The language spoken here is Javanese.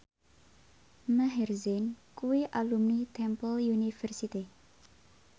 Maher Zein kuwi alumni Temple University